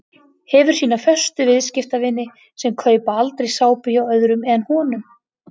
Hefur sína föstu viðskiptavini sem kaupa aldrei sápu hjá öðrum en honum.